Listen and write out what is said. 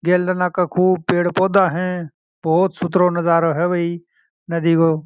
गेल में खूब सरे पेड़ पौधे है खूब सुथरो नज़ारो है नदी को --